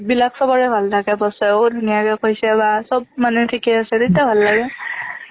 বিলাক চবৰে ভাল থাকে boss ও ধুনীয়াকে কৈছে বা চব মানে ঠিকে আছে তেতিয়া ভাল লাগে